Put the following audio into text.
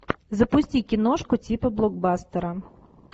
запусти киношку типа блокбастера